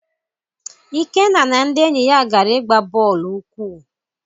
Ikenna na ndị enyi ya gara igba bọọlụ ụkwụ.